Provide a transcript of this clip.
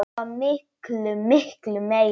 Svo miklu, miklu meira.